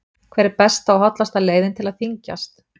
Hver er besta og hollasta leiðin til að þyngjast?